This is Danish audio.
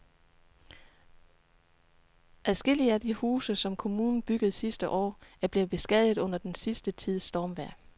Adskillige af de huse, som kommunen byggede sidste år, er blevet beskadiget under den sidste tids stormvejr.